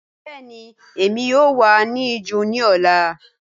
Bẹẹni Emi yoo wa ni ijo ni ọla.